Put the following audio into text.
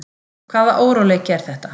Hvaða óróleiki er þetta?